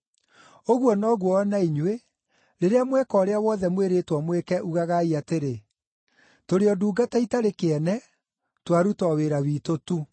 Ũguo noguo o na inyuĩ, rĩrĩa mweka ũrĩa wothe mwĩrĩtwo mwĩke, ugagai atĩrĩ, ‘Tũrĩ o ndungata itarĩ kĩene; twaruta o wĩra witũ tu.’ ”